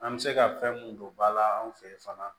An bɛ se ka fɛn mun don ba la anw fɛ yen fana